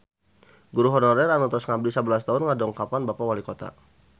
Guru honorer anu tos ngabdi sabelas tahun ngadongkapan Bapak Walikota